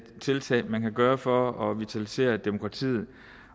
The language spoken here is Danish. tiltag man kan gøre for at vitalisere demokratiet